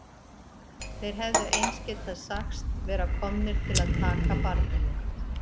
Þeir hefðu eins getað sagst vera komnir til að taka barnið mitt.